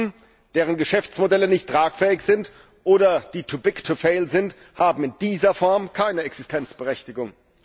Banken, deren Geschäftsmodelle nicht tragfähig sind oder die too big to fail sind, haben in dieser Form keine Existenzberechtigung.